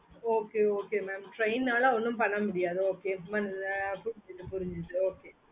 okay okay mamtrain நாள ஒன்னும் பண்ண முடியாதோ okay